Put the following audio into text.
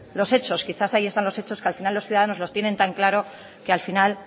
los hechos quizá ahí están los hechos que al final los ciudadanos lo tienen tan claro que al final